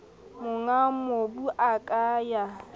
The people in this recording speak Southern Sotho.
monga mobu a ka ya